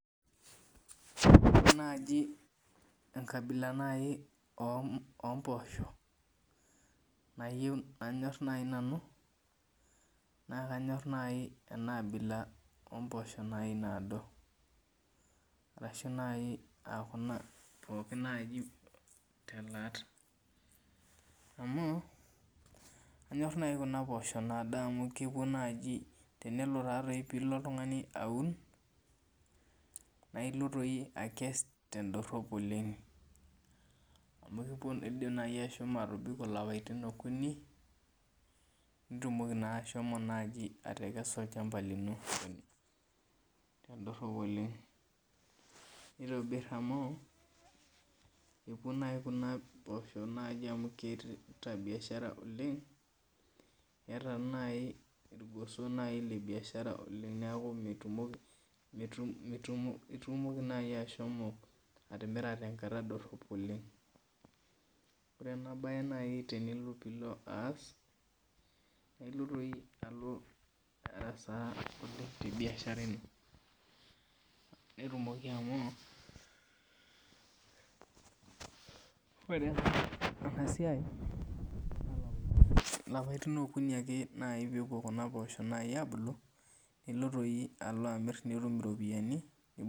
Ore naaji enkabila ompoosho nanyor nai nanu nakanyor enaabila ompoosho naado ashu nai kuna pokki nai telaat amu anyor nai kunapoosho naado amu tenelo nai oltungani aun nakelo akes tendorop oleng amu indim ani ashomo atobiko lapatin okuni nitumokibashomo atekesa olchamba lino tendorop olemg nitobir amu epuo nai kuna poosho amu keeta biashara Oleng eeta nai irgoso lebiashara neaku itumoki nai ashomo atimira tenkata dorop oleng ore nai enabae tenilo aas na ilo arasaa tebiashara ino netumoki amu ore enasiai lapaitin okuni ake pepuo kuna poosho abulu nilo amir nitum iropiyani.